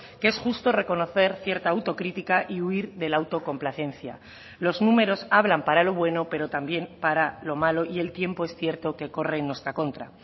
que es justo reconocer cierta autocrítica y huir de la autocomplacencia los números hablan para lo bueno pero también para lo malo y el tiempo es cierto que corre en nuestra contra